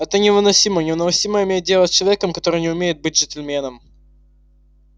это невыносимо невыносимо иметь дело с человеком который не умеет быть джентльменом